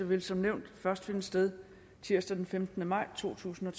vil som nævnt først finde sted tirsdag den femtende maj totusinde